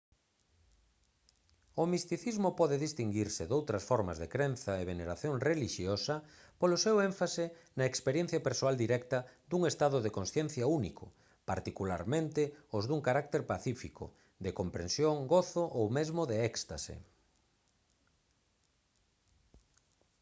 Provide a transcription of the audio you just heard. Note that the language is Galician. o misticismo pode distinguirse doutras formas de crenza e veneración relixiosa polo seu énfase na experiencia persoal directa dun estado de consciencia único particularmente os dun carácter pacífico de comprensión gozo ou mesmo de éxtase